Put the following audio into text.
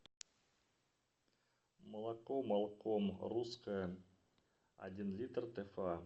молоко малком русское один литр тфа